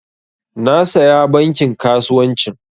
Na saya bankin kasuwancin